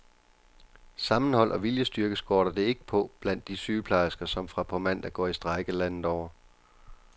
Sammenhold og viljestyrke skorter det ikke på blandt de sygeplejersker, som fra på mandag går i strejke landet over.